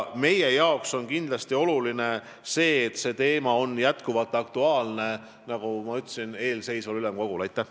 Meile on kindlasti oluline, et see teema on jätkuvalt aktuaalne eelseisval ülemkogul, nagu ma ütlesin.